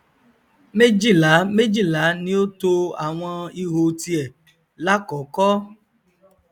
méjìláméjìlá ni ó to àwọn ihò tiẹ lákọọkọ